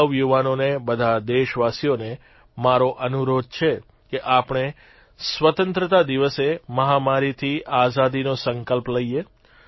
સૌ યુવાનોને બધા દેશવાસીઓને મારો અનુરોધ છે કે આપણે સ્વતંત્રતા દિવસે મહામારીથી આઝાદીનો સંકલ્પ લઇએ